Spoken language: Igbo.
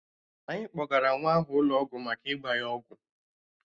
Anyị kpọgara nwa ahụ ụlọ ọgwụ maka ịgba ya ọgwụ